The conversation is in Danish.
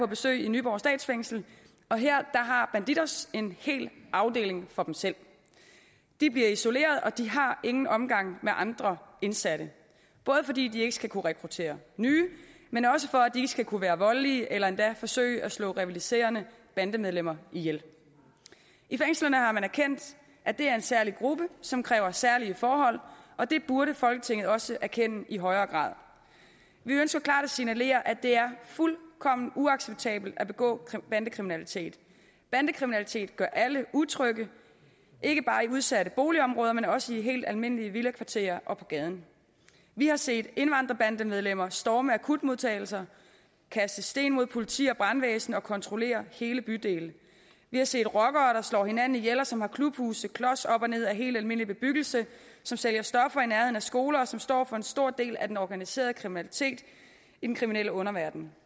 besøg i nyborg statsfængsel og her har bandidos en hel afdeling for selv de bliver isoleret og de har ingen omgang med andre indsatte både fordi de ikke skal kunne rekruttere nye men også for at de ikke skal kunne være voldelige eller endda forsøge at slå rivaliserende bandemedlemmer ihjel i fængslerne har man erkendt at det er en særlig gruppe som kræver særlige forhold og det burde folketinget også erkende i højere grad vi ønsker klart at signalere at det er fuldkommen uacceptabelt at begå bandekriminalitet bandekriminalitet gør alle utrygge ikke bare i udsatte boligområder men også i helt almindelige villakvarterer og på gaden vi har set indvandrerbandemedlemmer storme akutmodtagelser kaste sten mod politi og brandvæsen og kontrollere hele bydele vi har set rockere der slår hinanden ihjel og som har klubhuse klos op og ned ad helt almindelig bebyggelse som sælger stoffer i nærheden af skoler og som står for en stor del af den organiserede kriminalitet i den kriminelle underverden